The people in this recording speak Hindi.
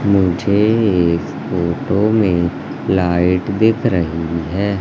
मुझे इस फोटो में लाइट दिख रही है।